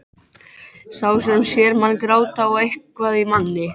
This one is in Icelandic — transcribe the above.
Þarftu endilega að púa beint á burknann maður?